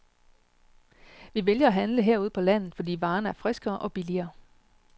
Vi vælger at handle herude på landet, fordi varerne er friskere og billigere.